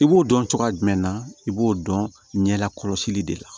I b'o dɔn cogoya jumɛn na i b'o dɔn ɲɛ la kɔlɔsi de la